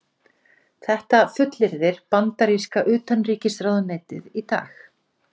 Þetta fullyrðir bandaríska utanríkisráðuneytið í dag